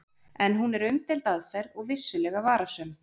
En hún er umdeild aðferð og vissulega varasöm.